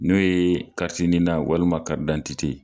N'o ye NINA walima karidantite.